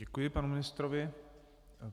Děkuji panu ministrovi.